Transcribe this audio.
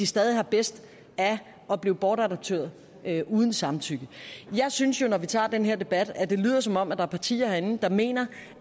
stadig har bedst af at blive bortadopteret uden samtykke jeg synes jo når vi tager den her debat at det lyder som om der er partier herinde der mener